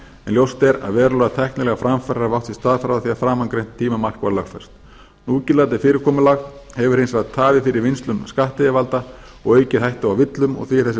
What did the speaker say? ljóst er að verulegar tæknilegar framfarir hafa átt sér stað frá því að framangreint tímamark var lögfest núgildandi fyrirkomulag hefur hins vegar tafið fyrir vinnslu skattyfirvalda og aukið hættu á villum og því er þessi